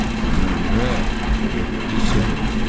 Nömrə yeddi sıfırdır.